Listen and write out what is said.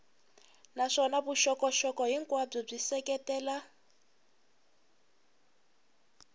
naswona vuxokoxoko hinkwabyo byi seketela